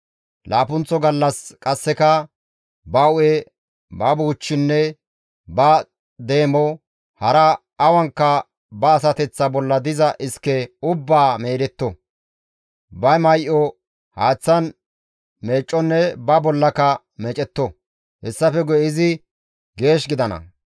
Laappunththo gallas qasseka ba hu7e, ba buuchchinne ba deemo, hara awanka ba asateththa bolla diza iske ubbaa meedetto; ba may7o haaththan meecconne ba bollaka meecetto; hessafe guye izi geesh gidana.